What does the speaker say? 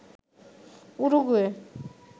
Uruguay